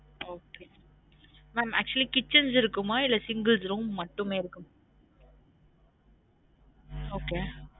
Okay mam actually kitchens இருக்குமா? இல்ல singles room மட்டுமே இருக்குமா? okay